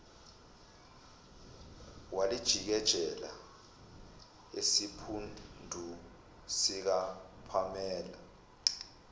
walijikijela esiphundu sikapamela